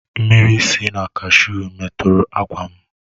Mmiri si na kashuu metọrọ ákwà m.